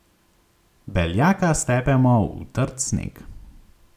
Beljaka stepemo v trd sneg.